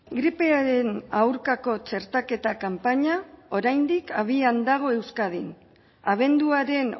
gripearen aurkako txertaketa kanpaina oraindik abian dago euskadin abenduaren